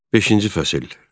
Beşinci fəsil.